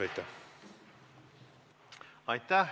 Aitäh!